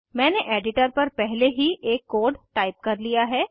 मैंने एडिटर पर पहले ही एक कोड टाइप कर लिया है